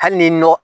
Hali ni nɔ